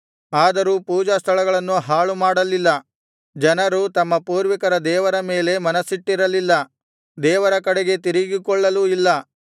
ಅದರೂ ಪೂಜಾಸ್ಥಳಗಳನ್ನು ಹಾಳುಮಾಡಲಿಲ್ಲ ಜನರು ತಮ್ಮ ಪೂರ್ವಿಕರ ದೇವರ ಮೇಲೆ ಮನಸ್ಸಿಟ್ಟಿರಲಿಲ್ಲ ದೇವರ ಕಡೆಗೆ ತಿರುಗಿಕೊಳ್ಳಲೂ ಇಲ್ಲ